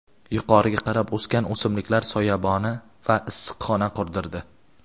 yuqoriga qarab o‘sgan o‘simliklar soyaboni — tahr.) va issiqxona qurdirdi.